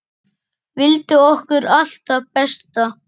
Vildi okkur allt það besta.